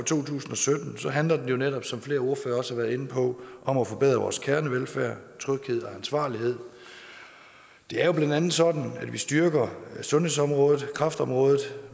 to tusind og sytten handler det jo netop som flere ordførere også har været inde på om at forbedre vores kernevelfærd tryghed og ansvarlighed det er blandt andet sådan at vi styrker sundhedsområdet kræftområdet